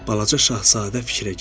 Balaca şahzadə fikrə getdi.